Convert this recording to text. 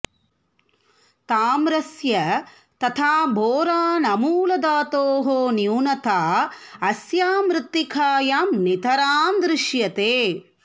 ताम्रस्य तथा बोरानमूलधातोः न्यूनता अस्यां मृत्तिकायां नितरां दृश्यते